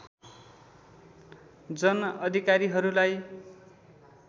जन अधिकारीहरूलाई